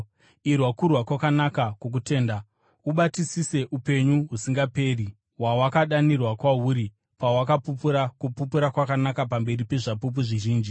Irwa kurwa kwakanaka kwokutenda. Ubatisise upenyu husingaperi hwawakadanirwa kwahuri pawakapupura kupupura kwakanaka pamberi pezvapupu zvizhinji.